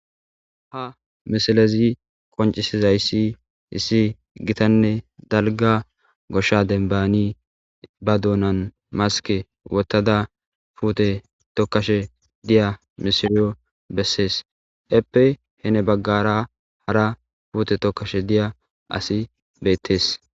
Ha misilezi qoncizaysi issi gitanne dalga gosha dembatni ba doonani wotada puute tokashe diya mishiryo besesi. Heepe gede heni bagara hara puute tokashe diya asiy beetesi.